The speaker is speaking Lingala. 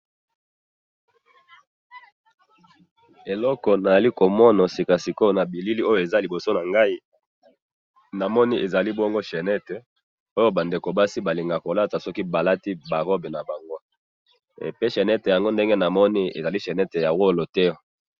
Eloko nazali komona sikasikoyo na bilili oyo ezali liboso na ngai, ezali chainette oyo basi balingaka kolata soki balati ba robe na bango, pe chainette yango ndenge na moni ezali chainette ya olo te.